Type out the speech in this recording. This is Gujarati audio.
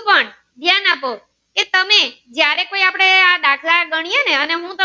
ધ્યાન આપો કે તમે જયારે આપણે આ દાખલ ગણી એ ને